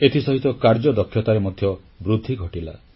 ଏଥିସହିତ କାର୍ଯ୍ୟଦକ୍ଷତାରେ ମଧ୍ୟ ବୃଦ୍ଧି ଘଟିଲା